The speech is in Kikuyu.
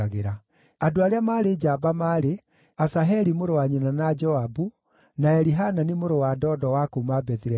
Andũ arĩa maarĩ njamba maarĩ: Asaheli mũrũ wa nyina na Joabu, na Elihanani mũrũ wa Dodo wa kuuma Bethilehemu,